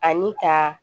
Ani ka